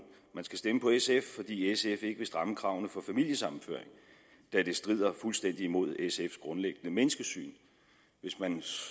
man skal stemme på sf fordi sf ikke vil stramme kravene for familiesammenføring da det strider fuldstændig mod sfs grundlæggende menneskesyn hvis man